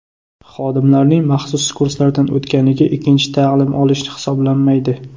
Xodimlarning maxsus kurslardan o‘tganligi ikkinchi ta’lim olish hisoblanmaydi.